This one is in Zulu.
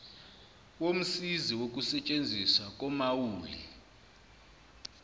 womsizi wokusetshenziswa komaulu